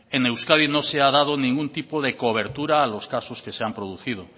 en euskadi no se ha dado ningún tipo de cobertura a los casos que se han producido